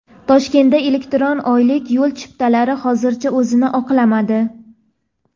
Toshkentda elektron oylik yo‘l chiptalari hozircha o‘zini oqlamadi.